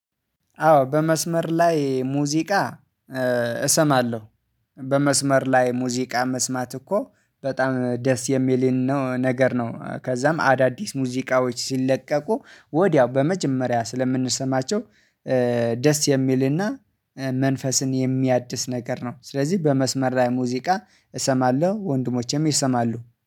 አዎ በመስመር ላይ ሙዚቃ እሰማለሁ። በመስመር ላይ ሙዚቃ መስማት እኮ በጣም ደስ የሚልን ነገር ነው። ከዛም አዳዲስ ሙዚቃዎች ሲለቀቁ ወዲያው በመጀመሪያ ስለምንሰማቸው። ደስ የሚልና መንፈስን የሚያድስ ነገር ነው። ስለዚህ በመስመር ላይ ሙዚቃ እሰማለሁ ወንድሞቼም ይሰማሉ